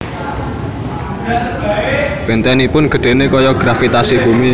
Bentenipun gedhene gaya gravitasi bumi